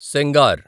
Sengar